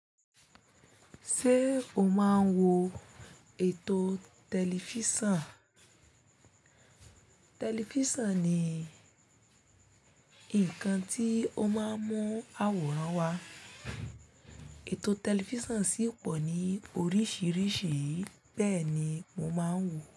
Ṣé o máa ń wo ètò tẹlifísàn? Tẹlifísàn ni nǹkan tí ó máa ń mú àwòrán wá. Ètò tẹlifísàn sì pọ̀ ní oríṣiríṣi, bẹ́ẹ̀ ni mo máa ń wò ó.